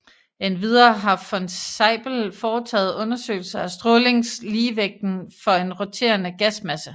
Endvidere har von Zeipel foretaget undersøgelser af strålingsligevægten for en roterende gasmasse